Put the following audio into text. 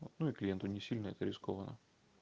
ну и клиенту не сильно это рискованно